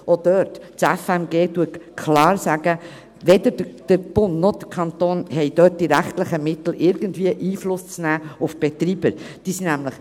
Auch dort sagt das Fernmeldegesetz (FMG) klar, dass weder der Bund noch der Kanton die rechtlichen Mittel haben, irgendwie auf die Betreiber Einfluss zu nehmen.